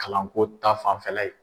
Kalanko ta fanfɛla ye.